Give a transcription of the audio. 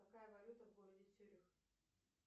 какая валюта в городе цюрих